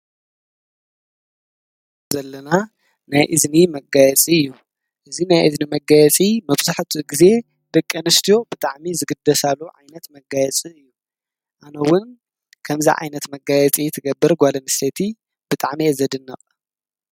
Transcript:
እዚ እንርእዮ ዘለና ናይ እዝኒ መጋየፂ እዩ። እዚ ናይ እዝኒ መጋየፂ መብዛሕትኡ ግዜ ደቀንስትዮ ብጣዓሚ ዝግደሳሉ ዓይነት መጋየፂ እዩ። ኣነ እውን ከምዚ ዓይነት መጋየፂ ትገብር ጓል ኣንስተይቲ ብጣዓሚ እየ ዘድንቕ።